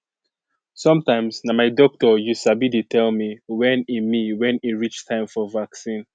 sometimes na my doctor you sabi dey tell me when e me when e reach time for vaccine